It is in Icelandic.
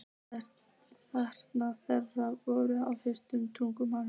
Þakkir þeirra voru á þremur tungumálum.